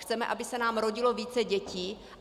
Chceme, aby se nám rodilo více dětí.